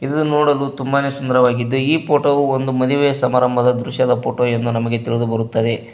ಇದು ನೋಡಲು ತುಂಬಾನೆ ಸುಂದರವಾಗಿದೆ ಈ ಪೋಟೋ ವು ಒಂದು ಮದುವೆಯ ಸಮಾರಂಭದ ದೃಶ್ಯದ ಪೊಟೊ ಎಂದು ನಮಗೆ ತಿಳಿದುಬರುತ್ತದೆ.